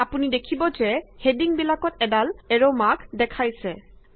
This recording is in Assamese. আপুনি দেখিব যে হেডিঙবিলাকত এডাল এৰ মাৰ্ক দেখাইছে